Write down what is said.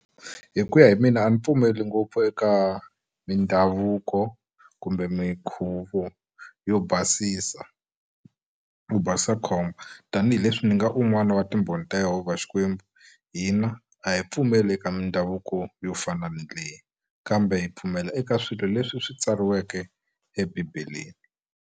Hi ku ya hi mina a ni pfumeli ngopfu eka mindhavuko kumbe minkhuvo yo basisa wu basisa khombo tanihileswi ndzi nga un'wana wa timbhoni ta Yehovha Xikwembu hina a hi pfumeli eka mindhavuko yo fana na leyi kambe hi pfumela eka swilo leswi swi tsariweke eBibeleni